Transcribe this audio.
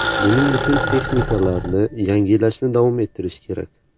Buning uchun texnikalarni yangilashni davom ettirish kerak.